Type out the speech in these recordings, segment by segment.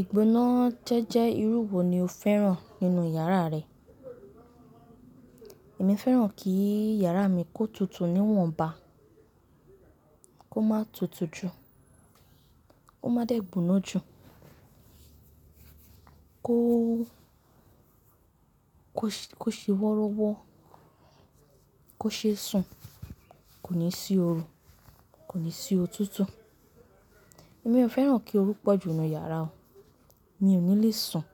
Ìgbóná jẹ́jẹ́ irú wo ni o fẹ́ràn nínú yàrá rẹ? Èmi fẹ́ràn kí yàrá mi kó tutù níwọ̀nba, kó má tutù jù, kó má dẹ́ gbóná jù, kó, kó, kó ṣe wọ́rọ́wọ́, kó ṣe sùn, kò ní sí oru, kò ní sí òtútù. Èmi ò fẹ́ràn kí oru pọ̀jù nú yàrá o, mi ò ní lè sùn.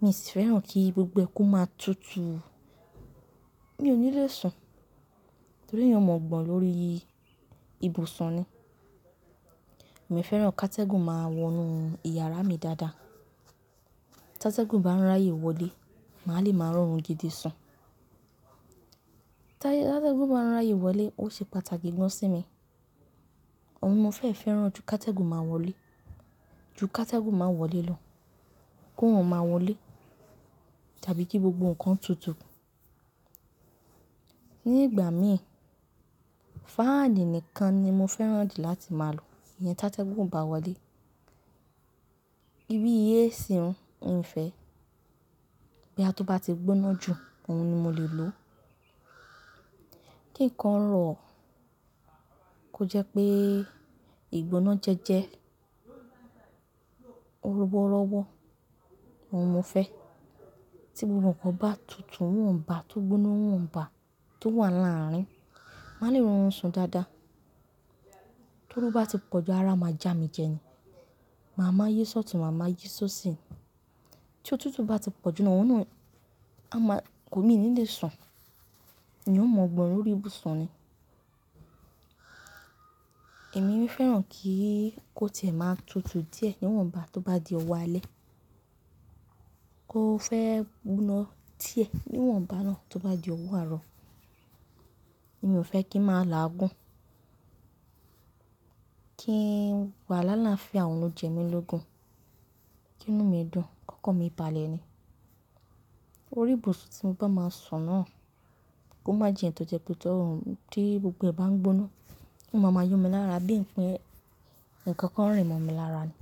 Mi sì fẹ́ràn kí gbogbo ẹ kú máa tutù, mi ò ní lè sùn, torí ẹeyan ò mọ̀ gbọ̀n lórí ibù sùn ni. Èmi fẹ́ràn ká tẹ́gùn máa wọnú ìyàrá mi dáadáa. Tá tẹ́gùn bá ń ráyè wọlé, màá lè máa rọrùn gidi sùn. Tá tẹ́gùn bá ń ráyè wọlé, ó ṣe pàtàkì gan sí mi. Òhun ni mo fẹ́ fẹ́ràn ju ká tẹ́gùn máa wọlé, ju ká tẹ́gùn máa wọlé lọ, kó oorun máa wọlé tàbí kí gbogbo nǹkan tutù. Ní ìgbà mí, fáànì nìkan ni mo fẹ́ràn di láti máa lò yẹn tá tẹ́gùn ò bá wọlé. Bí AC ún, ún o fẹ́. Bóyá tó bá ti gbóná jù, òhun ni mo lè lò. Kí nǹkan rọ̀, kó jẹ́ pé ìgbóná jẹ́jẹ́, ó rọ́wọ́rọ́wọ́, òhun mo fẹ́. Tí gbogbo nǹkan bá tutù níwọ̀nba, tó gbóná níwọ̀nba, tó wà lárín, màá lè rọrùn sùn dáadáa. Tó ooru bá ti pọ̀ jù, ara a máa jámijẹ ni. Màá máa yi ṣọtùn, màá máa yi ṣósì. Tí òtútù bá ti pọ̀jù òun náà, a máa, nkò mi ní lè sùn. N ò mọ̀ gbọ̀n lórí ìbù sùn ni. Èmi fẹ́ràn kí kó tìẹ̀ máa tutù díẹ̀ níwọ̀nba tó bá di ọwọ́ alẹ́. Kó fẹ́ gbóná tìẹ̀ níwọ̀nba náà tó bá di ọwọ́ àárọ̀. Mi ò fẹ́ kí n máa làágùn, kí n wà láláfià òhun jẹ mí lógun, kí inú mi dùn, kókan mi balẹ̀ ni. Orí ìbùsùn tí mo bá máa sùn náà, kó má jẹ́ tó jẹ́ pé tó, tí gbogbo ẹ bá ń gbóná, kó máa máa yún mi lára bí i pé nǹkan kan ń rìn mọ́ mi lára ni.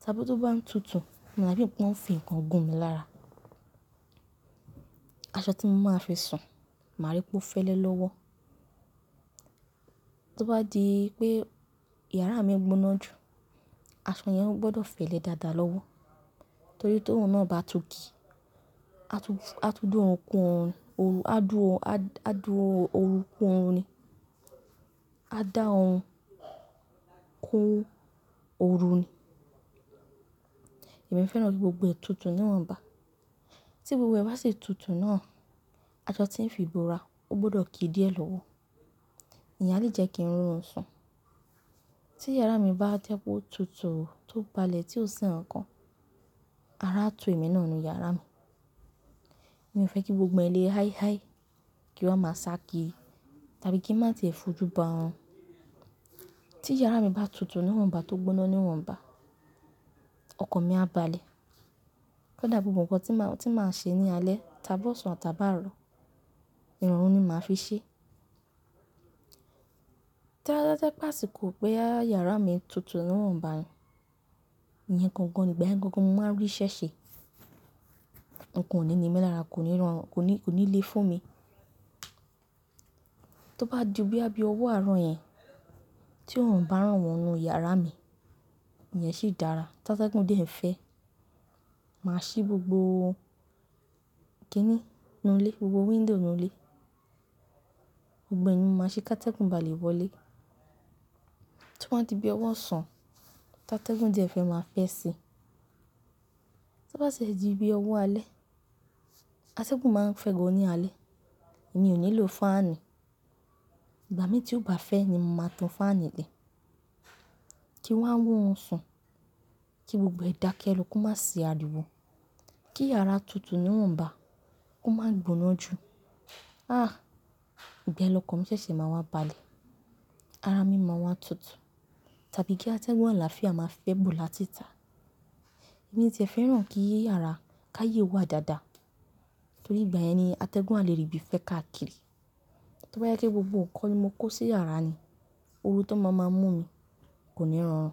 Ta bí ti ó bá ń tutù, ó ma da bí i pé wọ́n fi nǹkan gún mi lára. Aṣọ tí mo máa fi sùn, màá rí pé ó fẹ́lẹ́ lọ́wọ́. Tó bá di pé yàrá mi gbóná jù, aṣọ yẹn ó gbọdọ̀ fẹ́lẹ́ dáadáa lọ́wọ́, torí tó un náà bá tún kì, a tú, a tú dùn òun kún oorun, a dùn, a dùn ooru kún oòru ni. A dá òoru kún ooru ni. Èmi fẹ́ràn kí gbogbo ẹ tutù níwọ̀nba. Tí gbogbo ẹ bá sì tutù náà, aṣọ tí ń fi ìbora, ó gbọdọ̀ kí díẹ̀ lọ́wọ́. Ìyẹn a lè jẹ́ kí n rọrùn sùn. Tí yàrá mi bá jẹ́ pé ó tutù tó balẹ̀ tí ò sí nǹkan, ara a tu ẹ̀mí náà nu yàrá mi. Mi ò fẹ́ kí gbogbo ẹ lé háí háí, kí wọ́n má sá ki, tàbí kí n má tì ẹ fojú ba orun. Tí yàrá mi bá tutù níwọ̀nba tó gbóná níwọ̀nba, ọkàn mi á balẹ̀. Kọ́ dà gbogbo nǹkan tí màá, tí màá ṣe ní alẹ́, tàbí ọ̀sán tàbí àárọ̀, ìrọ̀rùn ni màá fi ṣe. Tó bá wa jẹ́ pé àsìkò ti yàrá mi tutù níwọ̀nba ni, ìyẹn gangan ni ìgbàyẹn gangan mo máa rí ìṣẹ́ ṣe. Ǹkan ò ní ní mí lára, kò ní rọrùn, kò ní, kò ní le fún mi. Tó bá di bóyá bí ọwọ́ àárọ̀ yẹn tí òorun bá rán wọnú yàrá mi, ìyẹn sì dára. Tá tẹ́gùn dẹ̀ n fẹ́, màá ṣí gbogbo kìíní nú ilé, gbogbo window ínú ilé. Gbogbo ẹ ni mo máa ṣe ká tẹ́gùn bá lè wọlé. Tí ó bá di bí i ọwọ́ òsán, tá tẹ́gùn dẹ̀ fẹ́ màá fẹ́ ẹ sí. Tá bá ṣi ti di bí i ọwọ́ alẹ́, atẹ́gùn máa n fẹ́ gan ní alẹ́. Mi ò ní lò fáànì. Ìgbà mí tí ó bá fẹ́ ni mo máa tan fáànì lè. Kí wa oorun sùn, kí gbogbo ẹ dákẹ́ ẹ lọ, kó má sì ariwo. Kí yàrá tutù níwọ̀nba, kó má gbóná jù. Ah! Ìgbayen lọ́kàn mi ṣẹ̀ṣẹ̀ máa wá balẹ̀. Ara mi máa wá tutù. Tàbí kí atẹ́gùn àlàáfíà máa fẹ́ bó lá títà. Mi tì e fẹ́ràn kí yàrá ká yè wà dáadáa, torí ìgbàyẹn ni atẹ́gùn á lè rí bí i fẹ́ ká kiri. Tó bá yẹ pé kí gbogbo nǹkan ni mo kó sí yàrá ni, oru tó máa máa mú mi, kò ní rọrùn.